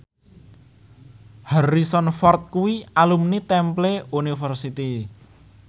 Harrison Ford kuwi alumni Temple University